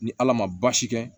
Ni ala ma baasi kɛ